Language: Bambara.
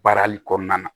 Baarali kɔnɔna na